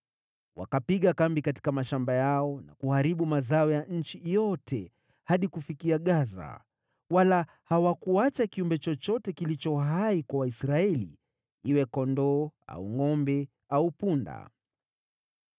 Wakapiga kambi katika mashamba yao na kuharibu mazao ya nchi yote hadi kufikia Gaza, wala hawakuacha kiumbe chochote kilicho hai kwa Waisraeli, iwe kondoo au ngʼombe au punda.